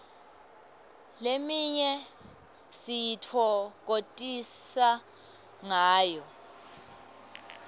leminye sititfokotisa ngayo